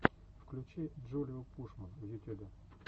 включи джулиу пушман в ютюбе